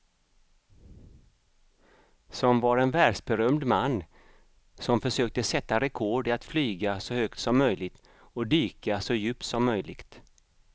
Som var en världsberömd man som försökte sätta rekord i att flyga så högt som möjligt och dyka så djupt som möjligt.